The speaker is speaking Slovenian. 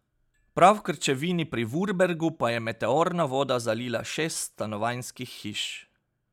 Prav v Krčevini pri Vurbergu pa je meteorna voda zalila šest stanovanjskih hiš.